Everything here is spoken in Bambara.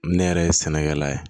Ne yɛrɛ ye sɛnɛkɛla ye